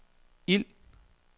ild